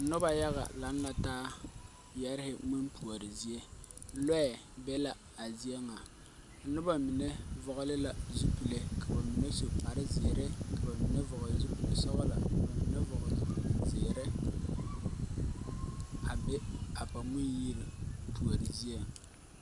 Noba yaga laŋ la taa yɛrehe ŋmempuori zie. Lɔɛɛ be la a zie ŋa. Noba mine vɔgele la zupelee, ka ba mine su kparre zeere, ka ba mine vɔgele zupelsɔgelɔ, ka ba mine vɔgele zupelzeere a be a ba Ŋmen-yiri puori zie.